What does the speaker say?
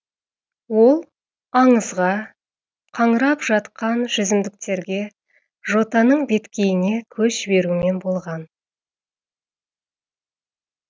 ол аңызға қаңырап жатқан жүзімдіктерге жотаның беткейіне көз жіберумен болған